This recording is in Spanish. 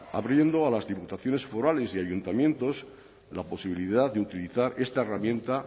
abriendo a las diputaciones forales y ayuntamientos la posibilidad de utilizar esta herramienta